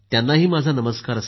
माझा नमस्कार सांगा